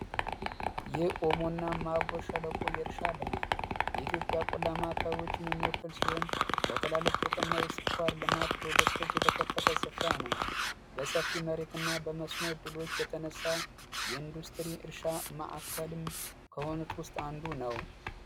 የኦሞ እና ማቆ ሸለቆ የእርሻ ልማት የኢትዮጵያ ቆላ ማዕከልዎችን የሚወክል ሲሆን፤ ለተላልቅ ጥጥ እና የስኳር ልማት ፕሮጀክቶች የተከፈተ ስፍራ ነው። በሰፊ መሬትና በመስኖ እድሎች የተነሳ የኢንዱስትሪ እርሻ ማዕከልም ውስጥ አንዱ ነው